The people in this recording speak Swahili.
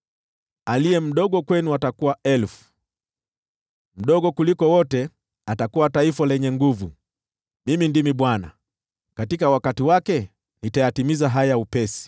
Aliye mdogo kwenu atakuwa elfu, mdogo kuliko wote atakuwa taifa lenye nguvu. Mimi ndimi Bwana ; katika wakati wake nitayatimiza haya upesi.”